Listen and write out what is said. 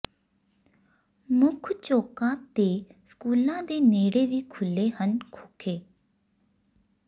ਮੁੱਖ ਚੌਕਾਂ ਤੇ ਸਕੂਲਾਂ ਦੇ ਨੇੜੇ ਵੀ ਖੱੁਲ੍ਹੇ ਹਨ ਖੋਖੇ